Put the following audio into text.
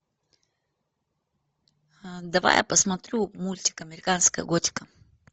давай я посмотрю мультик американская готика